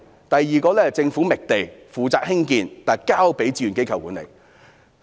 第二，政府覓地，負責興建，但交由志願機構管理。